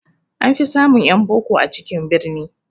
An fi samun ƴan boko a cikin birni